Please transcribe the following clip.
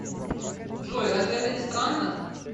джой разве это не странно